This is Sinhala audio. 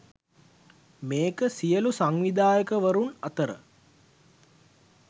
මේක සියලූ සංවිධායකවරුන් අතර